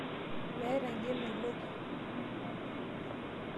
Meeta injo emeloki.